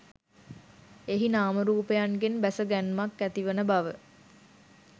එහි නාම රූපයන්ගෙන් බැස ගැන්මක් ඇතිවන බව